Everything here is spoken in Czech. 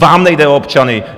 Vám nejde o občany.